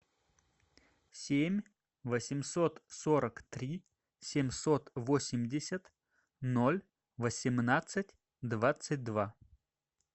семь восемьсот сорок три семьсот восемьдесят ноль восемнадцать двадцать два